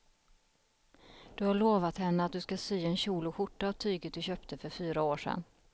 Du har lovat henne att du ska sy en kjol och skjorta av tyget du köpte för fyra år sedan.